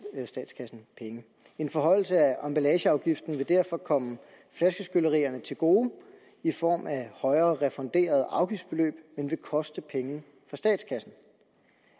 statskassen penge en forhøjelse af emballageafgiften vil derfor komme flaskeskyllerierne til gode i form af højere refunderet afgiftsbeløb men vil koste penge for statskassen